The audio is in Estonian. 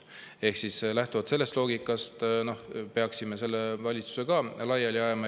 Ehk siis lähtuvalt sellest loogikast peaksime praeguse valitsuse laiali ajama.